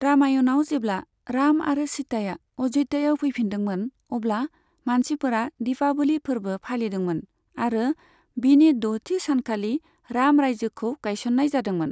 रामायणआव, जेब्ला राम आरो सीताया अय'ध्यायाव फैफिनदोंमोन, अब्ला मानसिफोरा दीपावली फोरबो फालिदोंमोन, आरो बिनि द'थि सानखालि राम रायजोखौ गायसननाय जादोंमोन।